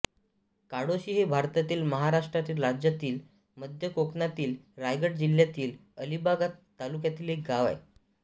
काळोशी हे भारतातील महाराष्ट्र राज्यातील मध्य कोकणातील रायगड जिल्ह्यातील अलिबाग तालुक्यातील एक गाव आहे